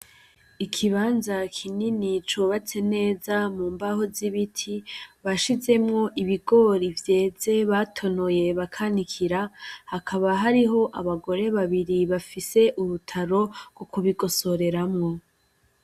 Ikibanza kinini cubatse neza mu mbaho z'ibiti bashizemwo ibigori vyeze batonoye bakanikira hakaba hariho abagore babiri bafise urutaro rwo kubigosoreramwo.